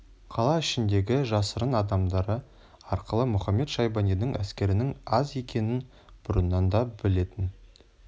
қала ішіндегі жасырын адамдары арқылы мұхамед-шайбанидың әскерінің аз екенін бұрыннан да білетін